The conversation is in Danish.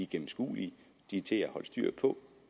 gennemskuelige de er til at holde styr på